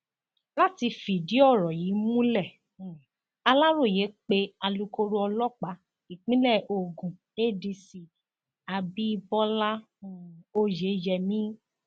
láti fìdí ọrọ yìí múlẹ um aláròye pé alūkkóró ọlọpàá ìpínlẹ ogun adc abibọlá um oyeyèmí